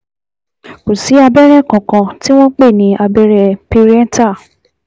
Kò sí abẹ́rẹ́ kankan tí wọ́n pè ní abẹ́rẹ́ pareital